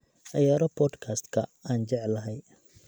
ciyaaro podcast-ka aan jeclahay